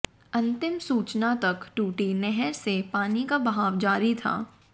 अंतिम सूचना तक टूटी नहर से पानी का बहाव जारी था